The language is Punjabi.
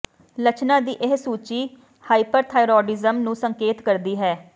ਲੱਛਣਾਂ ਦੀ ਇਹ ਸੂਚੀ ਹਾਈਪਰਥਾਈਰੋਡਿਜਮ ਨੂੰ ਸੰਕੇਤ ਕਰਦੀ ਹੈ